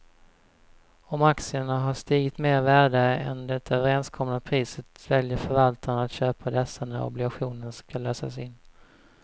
Om aktierna har stigit mer i värde än det överenskomna priset väljer förvaltaren att köpa dessa när obligationen ska lösas in.